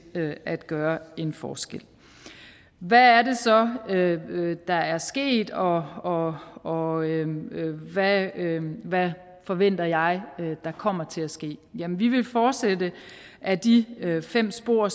at gøre en forskel hvad er det så der er sket og og hvad hvad forventer jeg der kommer til at ske jamen vi vil fortsætte ad de fem spor